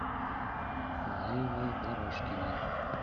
лейлой дорожкиной